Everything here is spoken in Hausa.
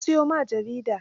Na siyo ma jaridar?